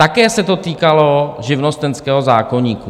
Také se to týkalo živnostenského zákoníku.